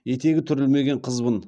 етегі түрілмеген қызбын